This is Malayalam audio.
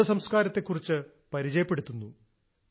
നമ്മുടെ സംസ്ക്കാരത്തെക്കുറിച്ച് പരിചയപ്പെടുത്തുന്നു